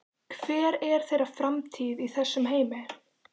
Hver er þeirra framtíð í þessum heimi?